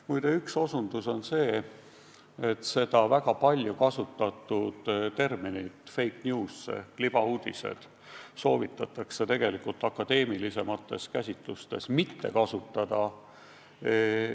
Muide, ma osutan sellele, et seda väga palju kasutatud terminit fake news ei soovitata akadeemilisemates käsitlustes kasutada.